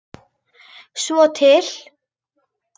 Svo til?